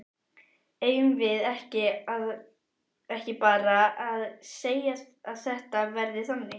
Eigum við ekki bara að segja að þetta verði þannig?